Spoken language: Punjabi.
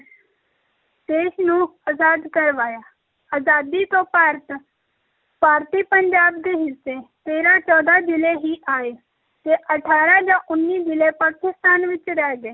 ਦੇਸ਼ ਨੂੰ ਆਜ਼ਾਦ ਕਰਵਾਇਆ, ਅਜ਼ਾਦੀ ਤੋਂ ਭਾਰਤ ਭਾਰਤੀ ਪੰਜਾਬ ਦੇ ਹਿੱਸੇ ਤੇਰਾਂ ਚੌਦਾਂ ਜ਼ਿਲ੍ਹੇ ਹੀ ਆਏ ਤੇ ਅਠਾਰਾਂ ਜਾਂ ਉੱਨੀ ਜ਼ਿਲ੍ਹੇ ਪਾਕਿਸਤਾਨ ਵਿੱਚ ਰਹਿ ਗਏ,